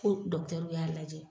Ko y'a lajɛ